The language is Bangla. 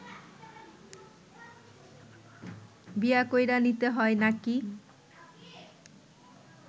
বিয়া কইরা নিতে হয় নাকি